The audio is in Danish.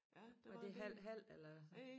Var det halv halv eller